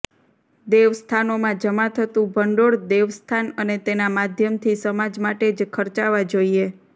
દેવસ્થાનોમાં જમા થતું ભંડોળ દેવસ્થાન અને તેના માધ્યમથી સમાજ માટે જ ખર્ચાવા જોઇએ